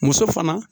Muso fana